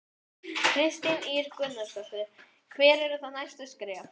Kristín Ýr Gunnarsdóttir: Hver eru þá næstu skref?